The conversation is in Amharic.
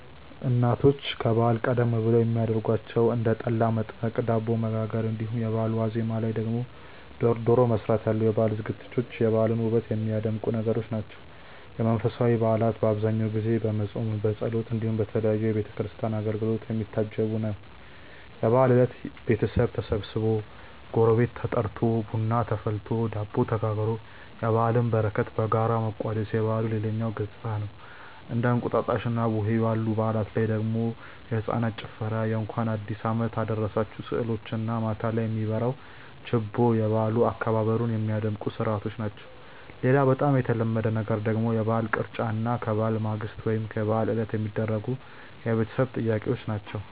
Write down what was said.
እናቶች ከበዓል ቀደም ብለው የሚያረጓቸው እንደ ጠላ መጥመቅ፣ ዳቦ መጋገር እንዲሁም የበአሉ ዋዜማ ላይ ደግሞ ዶሮ መስራት ያሉ የበዓል ዝግጅቶች የበዓሉን ውበት የሚያደምቁ ነገሮች ናቸው። የመንፈሳዊ በዓላት በአብዛኛው ጊዜ በፆምምና በጸሎት እንዲሁም በተለያዩ የቤተ ክርስቲያን አገልግሎቶች የሚታጀብ ነው። የበዓል እለት ቤተሰብ ተሰብስቦ፣ ጎረቤት ተጠርቶ፣ ቡና ተፈልቶ፣ ዳቦ ተጋግሮ የበዓልን በረከት በጋራ መቋደስ የበዓሉ ሌላኛው ገፅታ ነው። እንደ እንቁጣጣሽና ቡሄ ባሉ በዓላት ላይ ደግሞ የህፃናት ጭፈራ የእንኳን አዲሱ አመት አደረሳችሁ ስዕሎች እና ማታ ላይ የሚበራው ችቦ የበዓል አከባበሩን ሚያደምቁ ስርዓቶች ናቸው። ሌላ በጣም የተለመደ ነገር ደግሞ የበዓል ቅርጫ እና ከበዓል ማግስት ወይም የበዓል ዕለት የሚደረጉ የቤተሰብ ጥየቃዎች ናቸው።